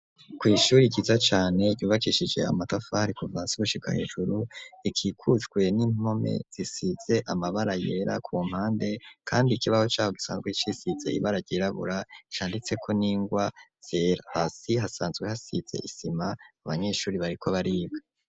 kw'ishure ryiza cane yubakishije amatafari kuvasushiga hejuru ikikutwe n'intome zisize amabara yera ku mpande kandi ikibaho cyabo gisanzwe cisize ibara ryirabura icanditse ko n'ingwa zera hasi hasanzwe hasize isima abanyeshuri bariko bariba.